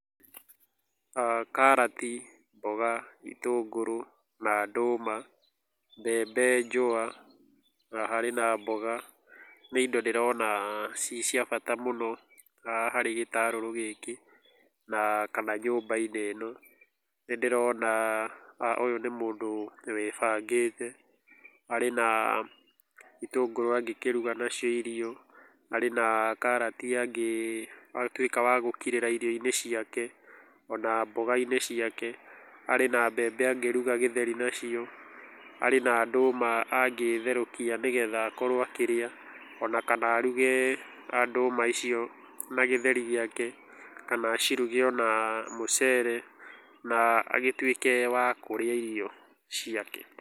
Karati, mboga, itũngũrũ na ndũma, mbembe njũa na harĩ na mboga nĩ indo ndĩrona cii cia bata mũno harĩ gĩtarũrũ gĩkĩ na kana nyũmba-inĩ ĩno. Nĩ ndĩrona ũyũ nĩ mũndũ wĩbangĩte, arĩ na itũngũrũ angĩkĩruga nacio irio, arĩ na karati angĩtuĩka wa gũkirĩra irio-inĩ ciake ona mboga-inĩ ciake. Arĩ na mbembe angĩruga gĩtheri nacio, arĩ na ndũma angĩtherũkia nĩgetha akorũo akĩrĩa, ona kana aruge ndũma icio na gĩtheri gĩake. Kana aciruge na mũcere agĩtuĩke wa kũrĩa irio ciake.